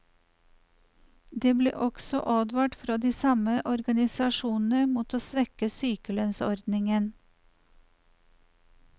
Det ble også advart fra de samme organisasjonene mot å svekke sykelønnsordningen.